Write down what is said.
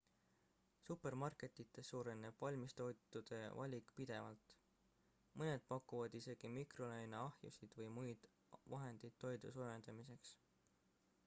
supermarketites suureneb valmistoitude valik pidevalt mõned pakuvad isegi mikrolaineahjusid või muid vahendeid toidu soojendamiseks